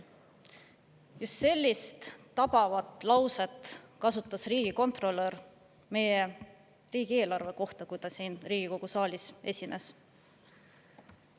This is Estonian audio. Just sellist tabavat lauset kasutas riigikontrolör meie riigieelarve kohta, kui ta siin Riigikogu saalis esines.